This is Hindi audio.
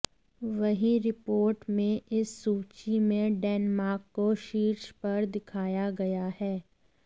वहीं रिपोर्ट में इस सूची में डेनमार्क को शीर्ष पर दिखाया गया है